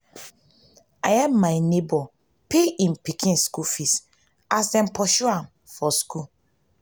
i help my nebor pay im pikin skool fees as dem pursue am for skool.